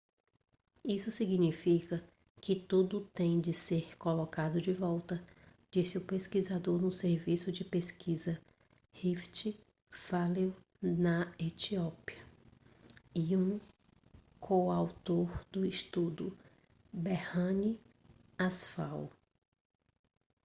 isso significa que tudo tem de ser colocado de volta disse o pesquisador no serviço de pesquisa rift valley na etiópia e um coautor do estudo berhane asfaw